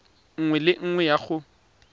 nngwe le nngwe ya go